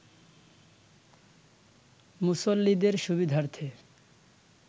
মুসল্লিদের সুবিধার্থে